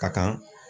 Ka kan